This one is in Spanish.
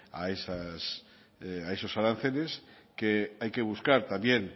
a esos aranceles que hay que buscar también